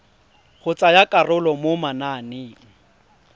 go tsaya karolo mo mananeng